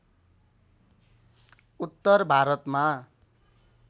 उत्तर भारतमा